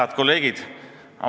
Head kolleegid!